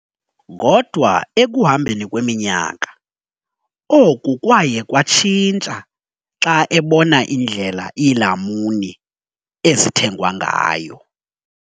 Kodwa ekuhambeni kweminyaka, oku kwaye kwatshintsha xa ebona indlela iilamuni ezithengwa ngayo.